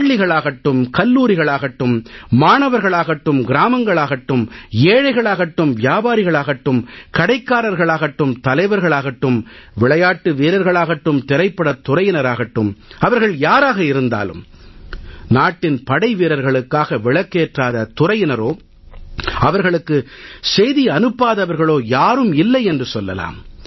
பள்ளிகளாகட்டும் கல்லூரிகளாகட்டும் மாணவர்களாகட்டும் கிராமங்களாகட்டும் ஏழைகளாகட்டும் வியாபாரிகளாகட்டும் கடைக்காரர்களாகட்டும் தலைவர்களாகட்டும் விளையாட்டு வீரர்களாகட்டும் திரைப்படத் துறையினராகட்டும் அவர்கள் யாராக இருந்தாலும் நாட்டின் படைவீரர்களுக்காக விளக்கேற்றாத துறையினரோ அவர்களுக்கு செய்தி அனுப்பாதவர்களோ யாரும் இல்லை என்று சொல்லலாம்